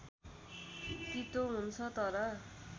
तीतो हुन्छ तर